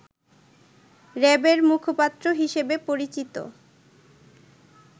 র‍্যাবের মুখপাত্র হিসেবে পরিচিত